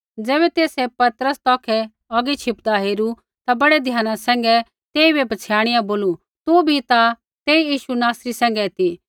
ज़ैबै तेसै पतरस तौखै औगी छिपदा हेरू ता बड़ै ध्याना सैंघै तेइबै पछ़ियाणिया बोलू तू बी ता तेई यीशु नासरी सैंघै ती